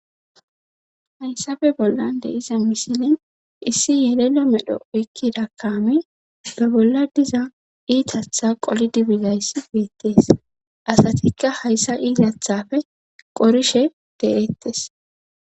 Hayssafe bollan de iza misilin issi yelelo medho ekkida kaami be bolla diza iitatha qolidibizayss geettees asatikka hayssa iitathafe qorishe de7eettes